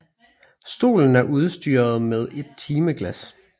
Stolen er udstyret med et timeglas